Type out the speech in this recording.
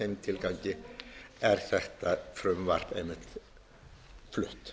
þeim tilgangi er þetta frumvarp einmitt flutt